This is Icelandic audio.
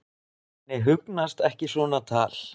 Henni hugnast ekki svona tal.